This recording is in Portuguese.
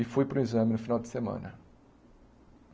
E fui para o exame no final de semana.